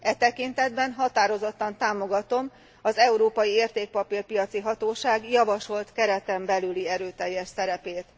E tekintetben határozottan támogatom az Európai Értékpapír piaci Hatóság javasolt kereten belüli erőteljes szerepét.